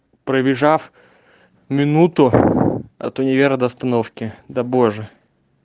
пробежав минуту от универа до остановки да боже